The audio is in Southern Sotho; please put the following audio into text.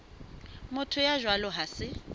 motho ya jwalo ha se